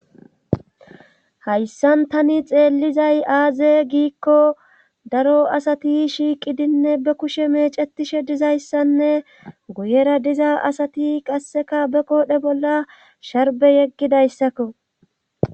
Hayssan tani xeellizay aaze giikko daro asati shiiqidinne ba kushe meecetishe diza issanne guyera diza asati qasseka ba qoobee bolla sharbe yeggida issakko.